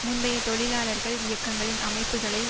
முந்தைய தொழிலாளர்கள் இயக்கங்களின் அமைப்புக்களை